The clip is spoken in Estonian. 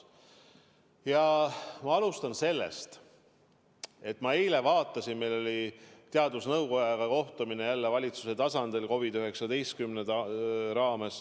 Ja ma alustan sellest, et meil oli eile jälle COVID-19 tõttu teadusnõukojaga kohtumine valitsuse tasandil.